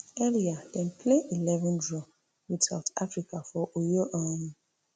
earlier dem play eleven draw with south africa for uyo um